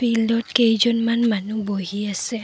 ফিল্ডত কেইজনমান মানুহ বহি আছে।